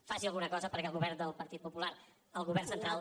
faci alguna cosa perquè el govern del partit popular el govern central